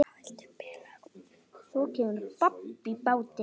Svo kemur babb í bátinn.